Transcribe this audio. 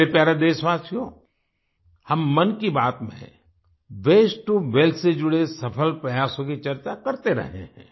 मेरे प्यारे देशवासियो हम मन की बात में वास्ते टो वेल्थ से जुड़े सफल प्रयासों की चर्चा करते रहे हैं